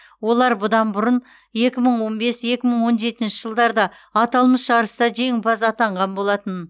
олар бұдан бұрын екі мың он бес екі мың он жетінші жылдарда аталмыш жарыста жеңімпаз атанған болатын